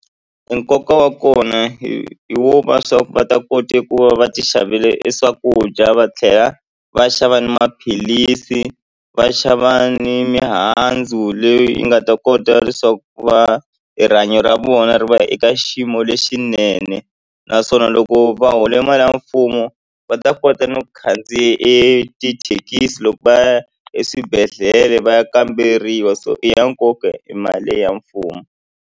Nkoka wa kona hi hi wo va swa va ta kota ku va va ti xavele swakudya va tlhela va xava ni maphilisi va xava ni mihandzu leyi i nga ta kota leswaku va rihanyo ra vona ri va eka xiyimo lexinene naswona loko va hola mali ya mfumo va ta kota na ku khandziya etithekisi loko va ya eswibedhlele va ya kamberiwa so i ya nkoka e mali ya mfumo.